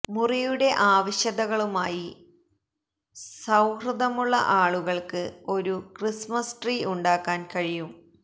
മുറിയുടെ ആവശ്യകതകളുമായി സൌഹൃദമുള്ള ആളുകൾക്ക് ഒരു ക്രിസ്മസ് ട്രീ ഉണ്ടാക്കാൻ കഴിയും